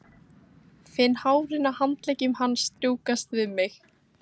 Finn hárin á handleggjum hans strjúkast við mig.